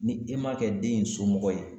Ni e ma kɛ den in somɔgɔ ye.